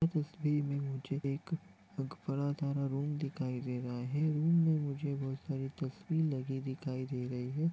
इस तस्वीर मे मुझे एक रूम दिखाई दे रहा है रूम मे मुझे बहुत सारी तस्वीर लगी दिखाई दे रही है।